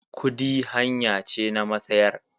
Kudi hanya ce na masayar.